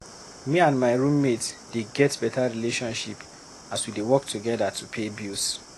Me and my roommate dey get beta relationship as we dey work together to pay bills.